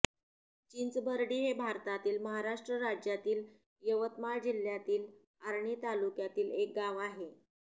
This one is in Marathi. चिंचबर्डी हे भारतातील महाराष्ट्र राज्यातील यवतमाळ जिल्ह्यातील आर्णी तालुक्यातील एक गाव आहे